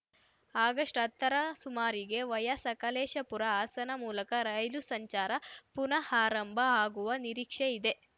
ಆಗಸ್ಟ್ಹತ್ತರ ಸುಮಾರಿಗೆ ವಯಾ ಸಕಲೇಶಪುರ ಹಾಸನ ಮೂಲಕ ರೈಲು ಸಂಚಾರ ಪುನಾಆರಂಭವಾಗುವ ನಿರೀಕ್ಷೆ ಇದೆ